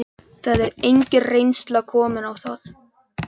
Það er engin reynsla komin á það.